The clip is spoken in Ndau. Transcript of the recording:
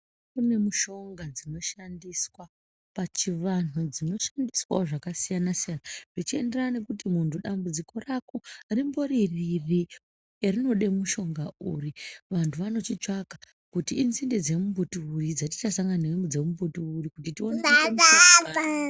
Kune mushonga dzinoshandiswa achivanhu dzinoshandiswawo zvakasiyanasiyana zvichienderana nekuti munhu dambudziko rako rimbori riri, rinode mushonga uri, vantu vanochitsvaka kuti inzinde dzemumbuti uri dzatichasanganidza nemumbuti uri kuti tione kuite mushonga.